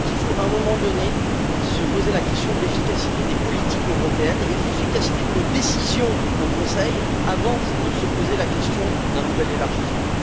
À un moment donné, il faut se poser la question de l'efficacité des politiques européennes et de l'efficacité de nos décisions au Conseil avant de se poser la question d'un nouvel élargissement.